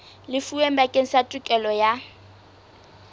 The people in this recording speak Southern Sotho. lefuweng bakeng sa tokelo ya